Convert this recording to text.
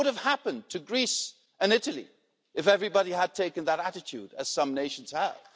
What would have happened to Greece and Italy if everybody had taken that attitude, as some nations have?